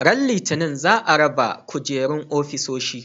Ran Litinin za a raba kujerun ofisoshi.